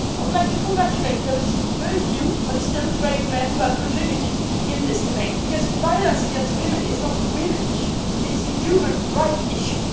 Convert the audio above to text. I would like to congratulate those very few but still brave men who have contributed to this debate, because violence against women is not a women's issue it is a human rights issue.